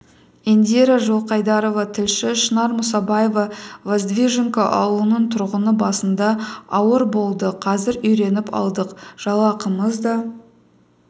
индира жылқайдарова тілші шынар мұсабаева воздвиженка ауылының тұрғыны басында ауыр болды қазір үйреніп алдық жалақымыз да